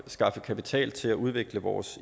skaffe kapital til at udvikle vores